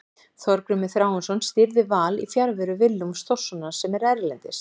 Þorgrímur Þráinsson stýrði Val í fjarveru Willums Þórssonar sem er erlendis.